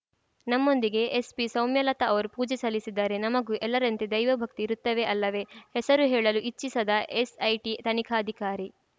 ನಮ್ಮೊಂದಿಗೆ ಎಸ್ಪಿ ಸೌಮ್ಯಲತಾ ಅವರು ಪೂಜೆ ಸಲ್ಲಿಸಿದ್ದಾರೆ ನಮಗೂ ಎಲ್ಲರಂತೆ ದೈವ ಭಕ್ತಿ ಇರುತ್ತವೆ ಅಲ್ಲವೇ ಹೆಸರು ಹೇಳಲು ಇಚ್ಚಿಸದ ಎಸ್‌ಐಟಿ ತನಿಖಾಧಿಕಾರಿ